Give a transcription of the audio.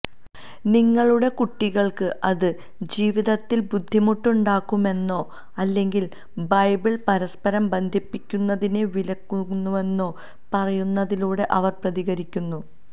നിങ്ങളുടെ കുട്ടികൾക്ക് അത് ജീവിതത്തിൽ ബുദ്ധിമുട്ട് ഉണ്ടാകുമെന്നോ അല്ലെങ്കിൽ ബൈബിൾ പരസ്പരം ബന്ധിപ്പിക്കുന്നതിനെ വിലക്കുന്നുവെന്നോ പറയുന്നതിലൂടെ അവർ പ്രതികരിക്കുന്നു